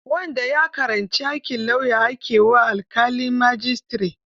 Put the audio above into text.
Wanda ya karanci aikin lauya ake wa alƙalin majistare.